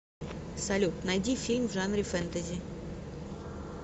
салют найди фильм в жанре фэнтэзи